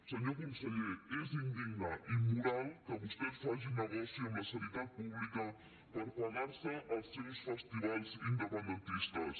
senyor conseller és indigne i immoral que vostès facin negoci amb la sanitat pública per pagar se els seus festivals independentistes